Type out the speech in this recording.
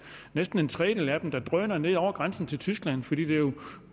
næsten en tredjedel af dem der drøner ned over grænsen til tyskland fordi